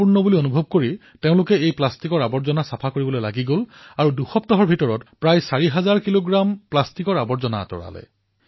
বিশাখাপট্টনমৰ গোতাখোৰীত প্ৰশিক্ষণ প্ৰদান কৰা স্কুবা ডাইভাৰে এদিন মাংগামাৰিপেটা তীৰত সমুদ্ৰৰ পৰা উভটি আহি আছিল আৰু সাঁতুৰি থকা অৱস্থাত তেওঁলোকে কিছু প্লাষ্টিকৰ বটল দেখা পালে